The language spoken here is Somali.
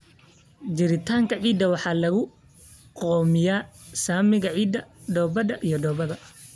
Jiritaanka ciidda waxaa lagu go'aamiyaa saamiga ciidda, dhoobada, iyo dhoobada.